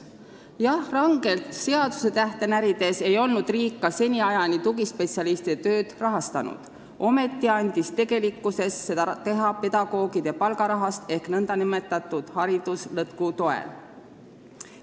Jah, kui rangelt seadusetähte närida, siis võib öelda, et riik ei olnud ka seniajani tugispetsialistide tööd rahastanud, ometi andis tegelikkuses seda teha pedagoogide palgarahast ehk nn hariduslõtku toel.